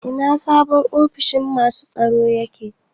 Ina sabon ofishin masu tsaro yake?